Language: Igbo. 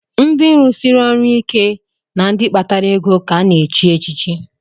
Ndị rusiri ọrụ ike na ndị kpatara ego ka a na-echi echichi